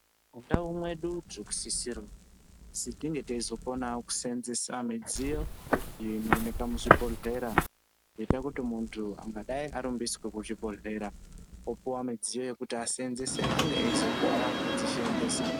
Mundau mwedu tinosisirwe kuzi tinge teizokonawo kuseenzesa midziyo iyo inooneka muzvibhodhlera yoita kuti muntu angadai arumbiswe kuchibhohlera opuwa midziyo yekuti aseenzese ange eizokona kudzisheenzesa.